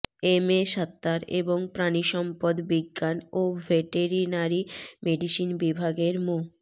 MA Sattar এবং প্রাণিসম্পদ বিজ্ঞান ও ভেটেরিনারি মেডিসিন বিভাগের মো